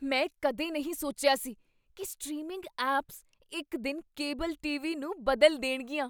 ਮੈਂ ਕਦੇ ਨਹੀਂ ਸੋਚਿਆ ਸੀ ਕੀ ਸਟ੍ਰੀਮਿੰਗ ਐਪਸ ਇੱਕ ਦਿਨ ਕੇਬਲ ਟੀਵੀ ਨੂੰ ਬਦਲ ਦੇਣਗੀਆਂ।